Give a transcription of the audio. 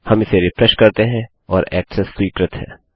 हम इसे रिफ्रेश करते हैं और ऐक्सेस स्वीकृत है